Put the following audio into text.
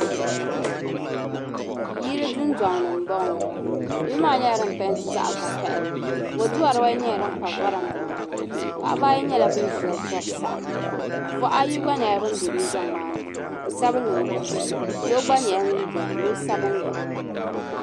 Yili dundoŋni m bo ŋɔ yili maa nyela din pɛɛnti zaɣvokaɣili boduuwa dibaayi nyela din pa voraanda maa ni paɣabaayi nyela ban ʒiya n tɔri saɣim buhi ayi gba nyela ban be dundoŋ maa ni busabinli ni buʒee noo gba nyela ŋun bɛni nosabinli.